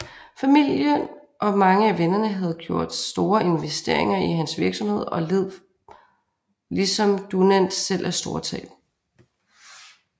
Familien og mange af vennerne havde gjort store investeringer i hans virksomhed og led ligesom Dunant selv store tab